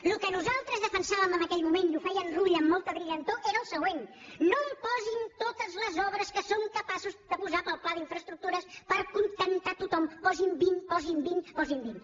el que nosaltres defensàvem en aquell moment i ho feia en rull amb molta brillantor era el següent no em posin totes les obres que són capaços de posar per al pla d’infraestructures per acontentar tothom posi’n vint posi’n vint posi’n vint